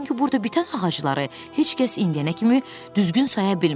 çünki burda bitən ağacları heç kəs indiyənə kimi düzgün saya bilmir.